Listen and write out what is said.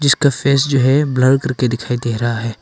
जिसका फेस जो है ब्लर करके दिखाई दे रहा है।